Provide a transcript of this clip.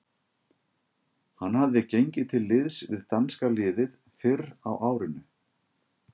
Hann hafði gengið til liðs við danska liðið fyrr á árinu.